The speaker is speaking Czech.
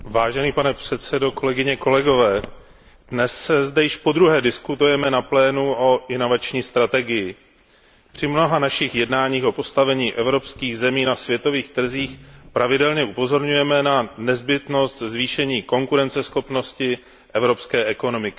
Pane předsedající, dnes zde již podruhé diskutujeme na plénu o inovační strategii. Při mnoha našich jednáních o postavení evropských zemí na světových trzích pravidelně upozorňujeme na nezbytnost zvýšení konkurenceschopnosti evropské ekonomiky.